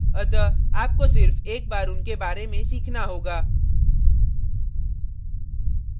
अतः आपको सिर्फ एक बार उनके बारे में सीखना होगा